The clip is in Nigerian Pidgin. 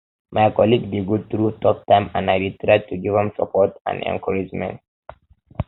my colleague dey go um through tough time and i dey try to give am um support and encouragement